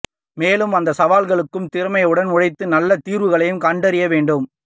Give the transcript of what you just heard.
மேலும் அந்த சவால்களுக்கு திறமையுடன் உழைத்து நல்ல தீர்வுகளையும் கண்டறிய வேண்டும்